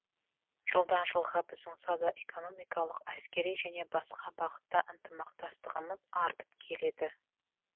жылдан жылға біздің сауда экономикалық әскери және басқа бағытта ынтымақтастығымыз артып келеді